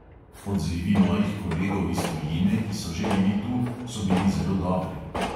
Odzivi mojih kolegov iz tujine, ki so že bili tu, so bili zelo dobri.